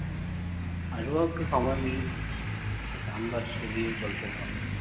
আসবো একটু সময় মিললে। কাম কাজ এদিকে চলছে তো।।